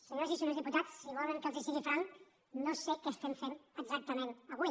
senyors i senyores diputats si volen que els sigui franc no sé què estem fent exactament avui